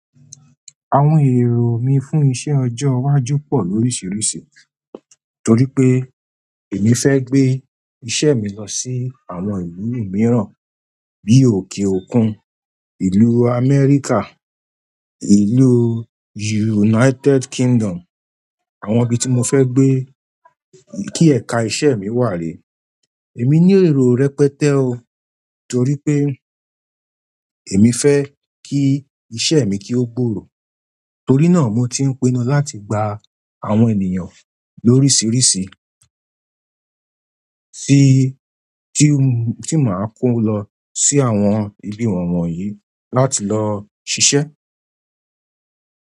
Àwọn èrò mi fún iṣẹ́ ọjọ́ iwájú pọ̀ lóríṣiríṣi torí pé èmi fẹ́ gbé iṣẹ́ mi lọ sí àwọn ìlú mìíràn bí i òkè òkun, ìlú Amẹ́ríkà, ìlú United Kingdom àwọn ibi tí mo fẹ́ gbé kí ẹ̀ka iṣẹ́ mi wà rẹ. Èmi ní èrò rẹpẹtẹ o torí pé èmi fẹ́ kí iṣẹ́ mi kí ó gbòòrò torí náà mo ti ń pinnu láti gba àwọn ènìyàn lóríṣiríṣi tí màá kó lọ sí àwọn ibi wọ̀nyí láti lọ ṣiṣẹ́.